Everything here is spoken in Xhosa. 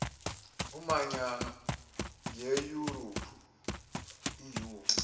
emanyano yeyurophu eu